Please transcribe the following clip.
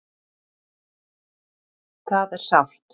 Það er sárt